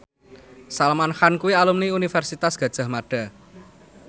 Salman Khan kuwi alumni Universitas Gadjah Mada